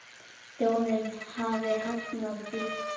Þjóðin hafi hafnað því.